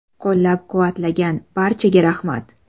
Qo‘llab-quvvatlagan barchaga rahmat.